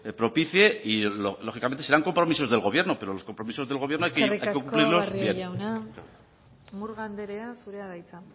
propicie y lógicamente serán compromisos del gobierno pero los compromisos del gobierno hay que cumplirlos eskerrik asko barrio jauna murga anderea zurea da hitza